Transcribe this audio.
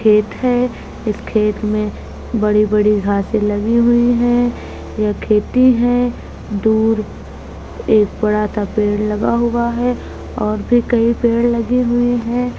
खेत है इस खेत में बड़ी-बड़ी घास लगी हुई हैं यह खेती है दूर एक बड़ा-सा पेड़ लगा हुआ है और भी कई पेड़ लगे हुए हैं।